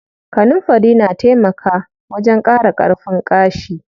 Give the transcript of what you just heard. Kanunfari na taimaka wajen ƙara ƙarfin ƙashi.